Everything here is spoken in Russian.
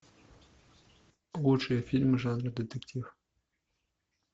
лучшие фильмы жанра детектив